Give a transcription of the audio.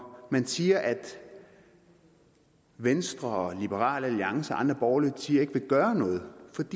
man siger at venstre liberal alliance og andre borgerlige partier ikke vil gøre noget